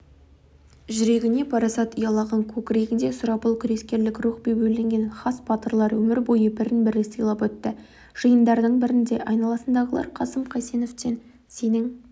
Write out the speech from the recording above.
жүрегіне парасат ұялаған көкірегінде сұрапыл күрескерлік рух бебеулеген хас батырлар өмір бойы бірін-бірі сыйлап өтті жиындардың бірінде айналасындағылар қасым қайсеновтен сенің